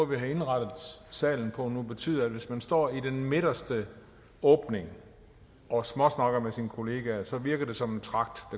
vi har indrettet salen på nu betyder at hvis man står i den midterste åbning og småsnakker med sine kollegaer så virker åbningen som en tragt